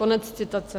Konec citace.